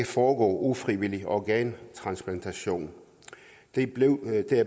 for ufrivillig organtransplantation er